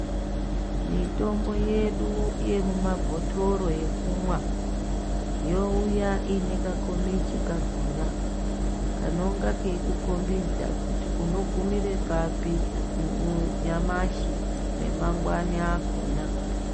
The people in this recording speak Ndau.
Mitombo yedu yemumabhotoro yekumwa youya ine kakomichi kakona kanonga keikukombidza kuti unogumira pari nyamashi nemangwani akona.